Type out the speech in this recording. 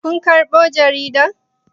Kun karɓo jarida?